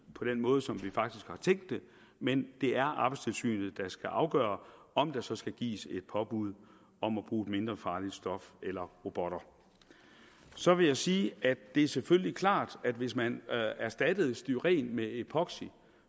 på den måde som vi faktisk har tænkt det men det er arbejdstilsynet der skal afgøre om der så skal gives et påbud om at bruge et mindre farligt stof eller robotter så vil jeg sige at det selvfølgelig er klart at hvis man erstattede styren med epoxy